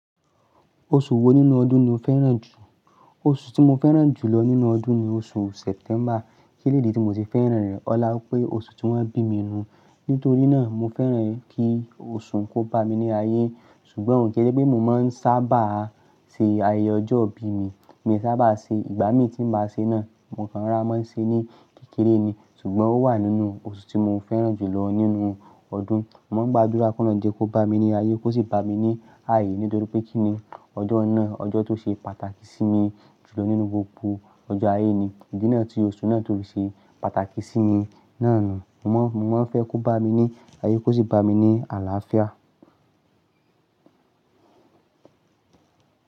Oṣù wo nínú ọdún ni o fẹ́ràn jù? Oṣù tí mo fẹ́ràn jù lọ nínú ọdún ni oṣù September. Kí nìdí tí mo ti fẹ́ràn rẹ̀? Ọlá pé oṣù tí wọ́n bí mi nu. Nítorí náà, mo fẹ́ràn kí oṣù kó bá mi ní ayé. Ṣùgbọ́n ó ń ke ṣe pé mo máa ń sábà ṣe ayẹyẹ ọjọ́ ìbí mi. Mi ò sábà ṣe, ìgbà mí tí màá ṣe náà, mo máa ń rà á mọ́ ṣe ní kékeré ni. Ṣùgbọ́n ó wà nínú oṣù tí mo fẹ́ràn jù lọ nínú ọdún. Mo máa ń gba dúrà kún lọ́ jẹ́ kó bá mi ní ayé, kó sì bá mi ní ààyè nítorí pé kí ni ọjọ́ náà, ọjọ́ tó ṣe pàtàkì sí mi jù lọ nínú gbogbo ọjọ́ ayé ni. Ìdí náà tí oṣù náà tó ṣe pàtàkì sí mi náà ni. Mo máa ń fẹ́ kó bá mi ní ayé, kó sì bá mi ní àlàáfíà.